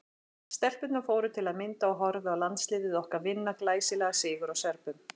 Stelpurnar fóru til að mynda og horfðu á landsliðið okkar vinna glæsilegan sigur á Serbum.